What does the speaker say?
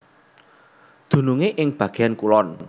Dunungé ing bagéan kulon